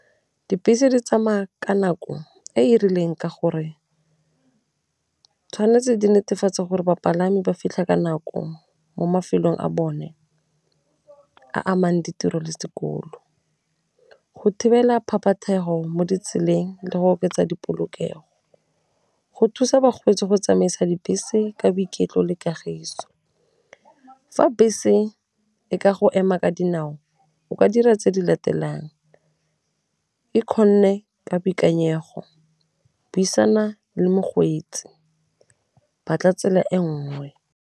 Dibese di tsamaya ka nako e e rileng ka gore 'tshwanetse di netefatse gore bapalami ba fitlha ka nako mo mafelong a bone a amang ditiro le sekolo go thibela phaphatheho go mo ditseleng, le go oketsa dipoloke'o, go thusa bakgweetsi go tsamaisa dibese ka boiketlo le kagiso. Fa bese e ka go ema ka dinao o ka dira tse di latelang, e kgone ka boikanyego, buisana le mogweetsi , batla tsela e nngwe.